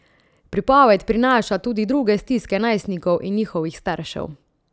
Pripoved prinaša tudi druge stiske najstnikov in njihovih staršev.